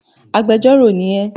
Agbẹjọ́rò ni ẹ!